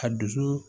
A dusu